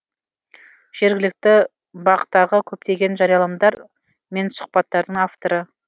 жергілікті бақ тағы көптеген жарияланымдар мен сұхбаттардың авторы